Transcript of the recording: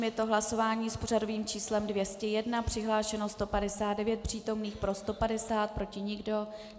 Je to hlasování s pořadovým číslem 201, přihlášeno 159 přítomných, pro 150, proti nikdo.